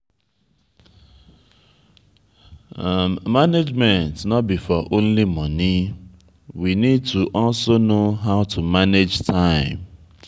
management no be for only money we need to also know how to manage time